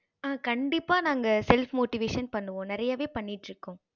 ஆஹ் கண்டிப்பா நாங்க self motivation பண்ணுவோம் நிறையவே பண்ணிட்டு இருக்கோம்